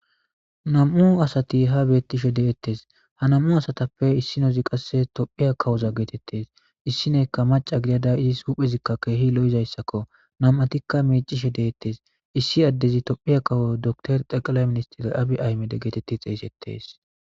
Nam'u asati ha beettishe deettes. Ha nam'u asatappe issinozi qasse tophiya kawoza geetettes. Issineekka maca gidada izis huphezikka keehi lo'izayssakko. nam'atikka miicishe deettes. Issi addezi tophiya kawoza dokitore xaqilay ministir Abi Aymede geetetti xeeysettes.